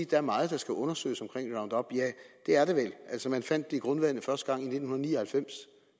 der er meget der skal undersøges omkring roundup ja det er der vel altså man fandt det i grundvandet første gang i nitten ni og halvfems